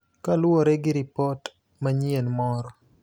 kaluwore gi ripot manyien moro.